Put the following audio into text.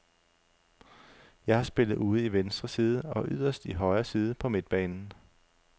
Jeg har spillet ude i venstre side og yderst i højre side på midtbanen.